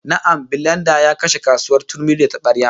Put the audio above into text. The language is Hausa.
Na'am, bilenda ya kashe kasuwar turmi da tabarya